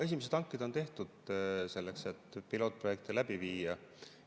Esimesed hanked on tehtud, selleks et pilootprojekte läbi viia.